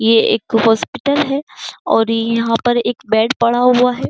ये एक हॉस्पिटल है और यहां पर एक बेड पड़ा हुआ है।